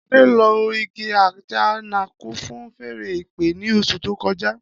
Ade lo igi ajanaku fun fèèrè ìpè ni osu to koja.